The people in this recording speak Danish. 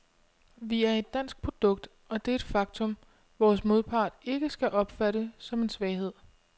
Vi er et dansk produkt, og det er et faktum, vores modpart ikke skal opfatte som en svaghed.